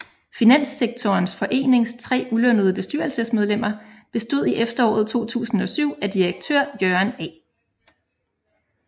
Finanssektorens forenings tre ulønnede bestyrelsesmedlemmer bestod i efteråret 2007 af direktør Jørgen A